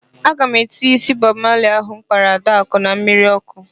Aga m etinye ísí Bọb Mali ahụ m kpara Adakụ na mmiri ọ́kụ́.